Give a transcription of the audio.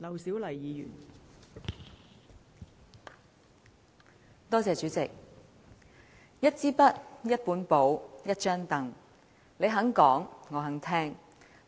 代理主席，"一支筆、一本簿、一張櫈，你肯講，我肯聽"。